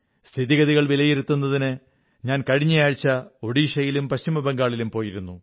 സ്ഥിതിഗതികൾ വിലയിരുത്തുന്നതിന് ഞാൻ കഴിഞ്ഞ ആഴ്ച ഓഡീശയിലും പശ്ചമബംഗാളിലും പോയിരുന്നു